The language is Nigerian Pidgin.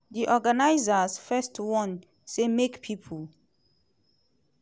di organisers first warn say make pipo